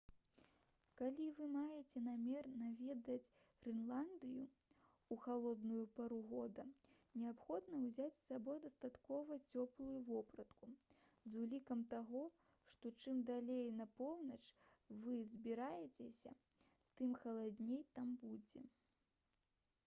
калі вы маеце намер наведаць грэнландыю ў халодную пару года неабходна ўзяць з сабой дастаткова цёплую вопратку з улікам таго што чым далей на поўнач вы збіраецеся тым халадней там будзе